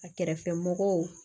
A kɛrɛfɛmɔgɔw